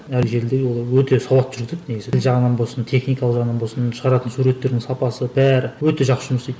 әр жерде олар өте сауатты жүргізеді негізі тіл жағынан болсын техникалық жағынан болсын шығаратын суреттердің сапасы бәрі өте жақсы жұмыс істейді